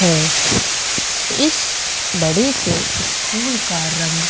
है इस बड़े से स्कूल का रंग